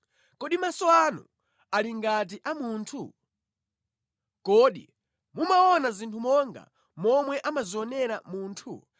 Kodi maso anu ali ngati a munthu? Kodi mumaona zinthu monga momwe amazionera munthu?